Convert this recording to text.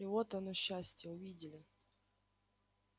и вот оно счастье увидели